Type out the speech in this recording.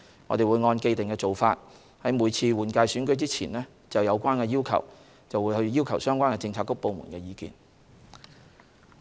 我們會按既定做法，在每次立法會換屆選舉前就有關要求，向相關政策局/部門索取意見。